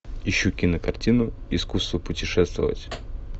ищу кинокартину искусство путешествовать